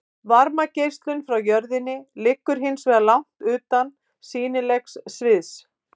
Varmageislunin frá jörðinni liggur hins vegar langt utan sýnilega sviðsins.